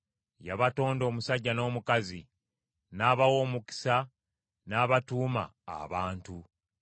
Yabatonda omusajja n’omukazi, n’abawa omukisa n’abatuuma, “abantu.”